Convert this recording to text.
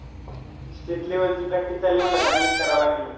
State level ची practice चालली म्हणल्यावर चांगलंच करावं लागंल ना?